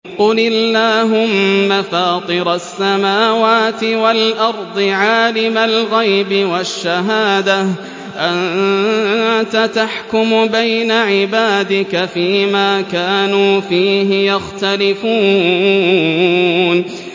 قُلِ اللَّهُمَّ فَاطِرَ السَّمَاوَاتِ وَالْأَرْضِ عَالِمَ الْغَيْبِ وَالشَّهَادَةِ أَنتَ تَحْكُمُ بَيْنَ عِبَادِكَ فِي مَا كَانُوا فِيهِ يَخْتَلِفُونَ